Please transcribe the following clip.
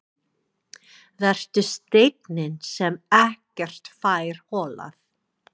Vertu steinninn sem ekkert fær holað.